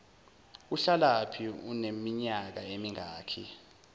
uhlalaphi uneminyaka emingaki